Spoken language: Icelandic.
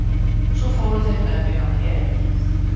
Svo fóru þeir með mig á Herinn.